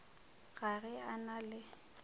ga ge a na le